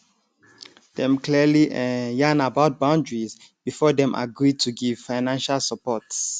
dem clearly um yarn about boundaries before dem agree to give financial support